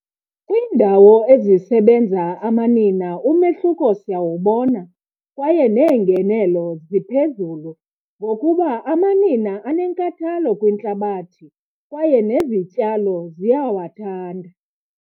Kwiindawo ezisebenza amanina umehluko siyawubona kwaye neengenelo ziphezulu, ngokuba amanina anenkathalo kwintlabathi kwaye nezityalo ziyawathanda.